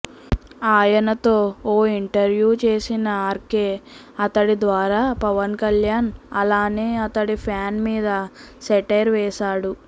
ఆయనతో ఓ ఇంటర్వ్యూ చేసిన ఆర్కే అతడి ద్వారా పవన్ కళ్యాణ్ అలానే అతడి ఫ్యాన్స్ మీద సెటైర్ వేశాడు